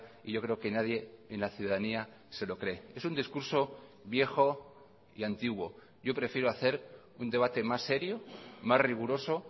y yo creo que nadie en la ciudadanía se lo cree es un discurso viejo y antiguo yo prefiero hacer un debate más serio más riguroso